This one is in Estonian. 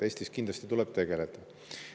Eestis kindlasti tuleb tegeleda.